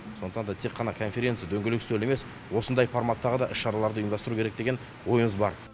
сондықтан да тек қана конференция дөңгелек үстел емес осындай форматтағы да іс шараларды ұйымдастыру керек деген ойымыз бар